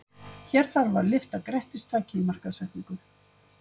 Hér þarf að lyfta grettistaki í markaðssetningu.